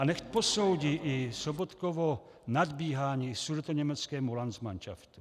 A nechť posoudí i Sobotkovo nadbíhání sudetoněmeckému landsmanšaftu.